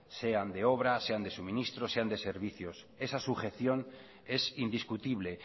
sean de obra sean de suministro sean de servicios esa sujeción es indiscutible